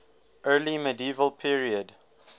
early medieval period